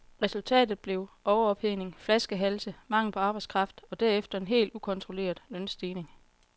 Resultatet blev overophedning, flaskehalse, mangel på arbejdskraft og derefter en helt ukontrolleret lønstigning.